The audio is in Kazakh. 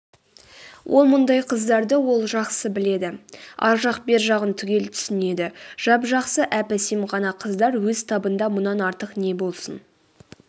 о мұндай қыздарды ол жақсы біледі ар жақ-бер жағын түгел түсінеді жап-жақсы әп-әсем ғана қыздар өз табында мұнан артық не болсын